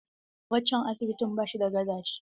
Waccan asibitin bashi da gadaje.